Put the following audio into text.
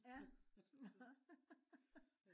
ja nå